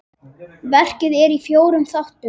Verkið er í fjórum þáttum.